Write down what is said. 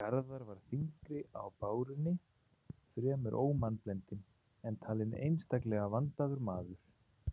Garðar var þyngri á bárunni, fremur ómannblendinn, en talinn einstaklega vandaður maður.